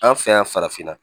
An fɛ yan farafinna